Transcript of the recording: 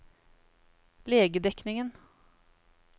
legedekningen